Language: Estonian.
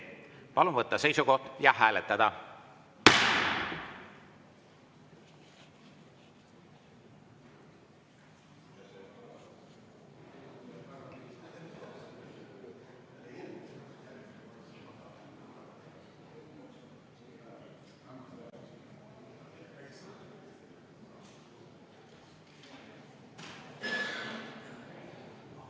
Palun võtta seisukoht ja hääletada!